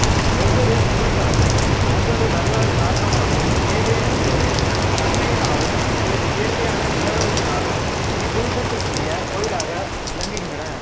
ஒவ்வொரு சிவத்தலமும் ஒரு வரலாறு காரணமாகவும் ஏதேனும் ஒரு தன்மையினாலும் அல்லது இயற்கையான நிலவரத்தினாலும் இப்பூதத்திற்குரிய கோயிலாக விளங்குகின்றன